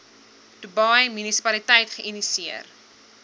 dubai munisipaliteit geïnisieer